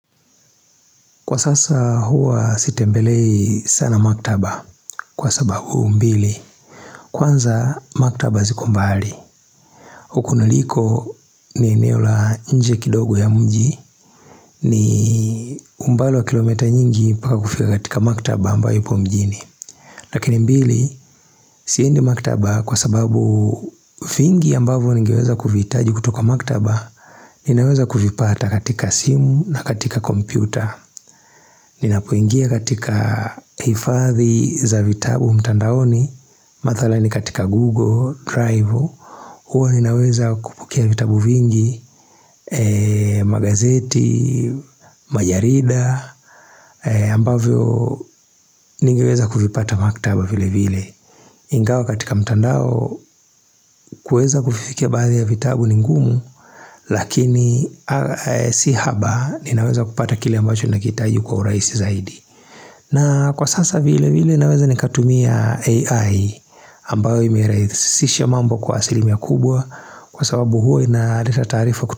Kwa sasa huwa sitembelei sana maktaba kwa sababu mbili Kwanza maktaba ziko mbali. Huku niliko ni eneo la nje kidogo ya mji ni umbali wa kilomita nyingi mpaka kufik katika maktaba ambayo ipo mjini Lakini mbili siendi maktaba kwa sababu, vingi ambavyo nigeweza kuvihitaji kutoka maktaba Ninaweza kuvipata katika simu na katika kompyuta Ninapoingia katika hifadhi za vitabu mtandaoni Mathalani katika Google, Drive Huwa ninaweza kupokia vitabu vingi Magazeti, Majarida ambavyo ningeweza kuvipata maktaba vile vile Ingawa katika mtandao, kuweza kuvifikia baadhi ya vitabu ni ngumu Lakini si haba ninaweza kupata kile ambacho nakihitaji kwa urahisi zaidi na kwa sasa vile vile naweza nikatumia AI ambayo imeyarahisisha mambo kwa asilimia kubwa kwa sababu huo inaleta taarifa ku.